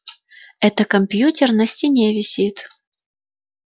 это компьютер на стене висит